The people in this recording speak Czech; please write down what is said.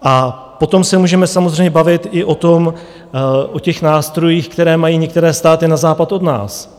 A potom se můžeme samozřejmě bavit i o těch nástrojích, které mají některé státy na západ od nás.